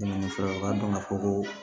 Dɛmɛ fɔlɔ u ka dɔn ka fɔ ko